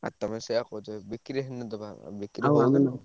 ଆ ତମେ ସେୟା କହୁଛ ଯଦି ବିକ୍ରି ହେଲେ ଦବା ଆମେ